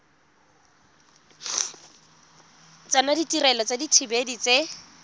tsona ditirelo tsa dithibedi tse